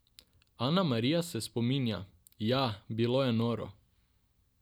Ana Marija se spominja: "Ja, bilo je noro.